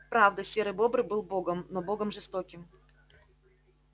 правда серый бобр был богом но богом жестоким